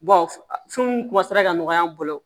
ka nɔgɔya an bolo